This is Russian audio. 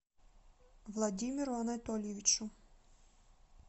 владимиру анатольевичу